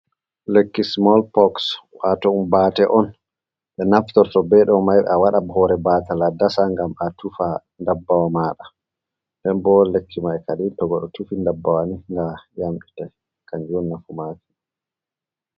Lekki Sumol-poks, waato ɗum Baate on ɓe naftorto bee ɗo may a waɗa hoore baata a dasa ngam a tufa ndabbawa maaɗa nden bo lekki may kadin to goɗɗo tufi ndabbawa ni ga yamɗita kanjum nafu maaki.